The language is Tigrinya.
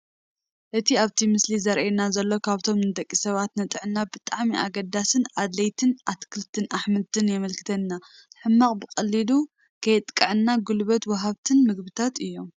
እቲ ኣብቲ ምስሊ ዝራኣየና ዘሎ ካብቶም ንደቂ ሰባት ንጥዕና ብጣዕሚ ኣገዳስን ኣድለይትን ኣትክልትን ኣሕምልትን የመልክተና፡፡ ሕማም ብቐሊሉ ከየጥቀዐናን ጉልበት ወሃብትን ምግብታት እዮም፡፡